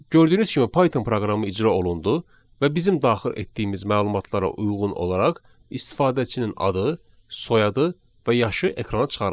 Gördüyünüz kimi Python proqramı icra olundu və bizim daxil etdiyimiz məlumatlara uyğun olaraq istifadəçinin adı, soyadı və yaşı ekrana çıxarıldı.